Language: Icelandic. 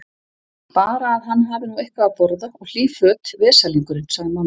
Bara að hann hafi nú eitthvað að borða og hlý föt, veslingurinn, sagði mamma.